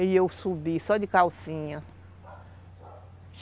E eu subi, só de calcinha.